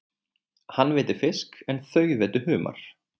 Hann veiddi fisk en þau veiddu humar.